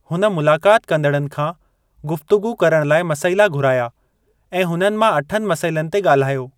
हुन मुलाकात कंदड़नि खां गुफ़्तगू करण लाइ मसइला घुराया ऐं हुननि मां अठनि मसइलनि ते ॻाल्हायो।